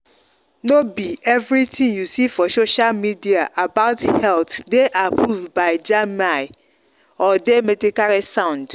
no be everything you see for social media about health dey approved by jaime or dey medically sound.